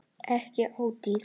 Ekki ódýr